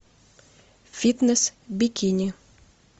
фитнес бикини